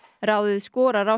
ráðið skorar á